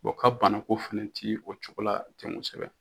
O ka banako fana tɛ o cogo la tɛ kosɛbɛ